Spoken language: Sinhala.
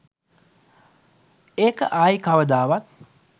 ඒක ආයි කවදාවත්